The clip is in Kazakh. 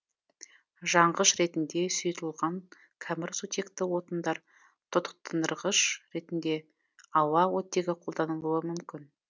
жанғыш ретінде сұйытылған кәмірсутекті отындар тотықтындырғыш ретінде ауа оттегі қолданылуы мүмкін